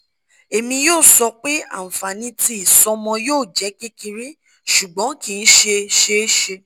emi yoo sọ pe anfani ti isọmọ yoo jẹ kekere ṣugbọn kii ṣe ṣeeṣe